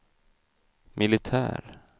militär